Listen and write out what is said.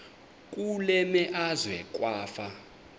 kule meazwe kwafa